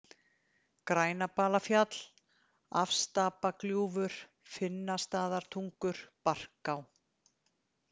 Grænabalafjall, Afstapagljúfur, Finnastaðatungur, Barká